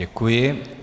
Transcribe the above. Děkuji.